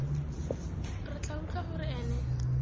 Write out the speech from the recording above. re tla utlwa gore ene